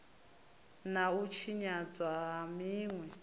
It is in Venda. na u tshinyadzwa ha zwinwe